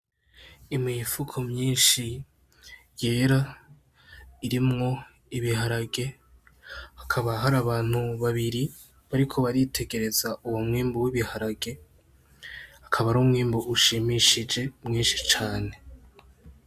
Imifuko myinshi yera irimwo ibiharage hakaba hari abantu babiri bariko baritegereza uwo mwimbu w' ibiharage akaba ar'umwimbu ushimishije mwinshi cane.